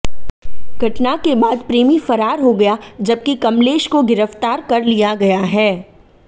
घटना के बाद प्रेमी फरार हो गया जबकि कमलेश को गिरफ्तार कर लिया गया है